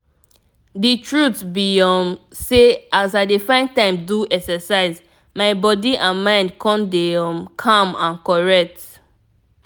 the truth be um sey as i dey find time do exercise my body and mind come dey um calm and correct.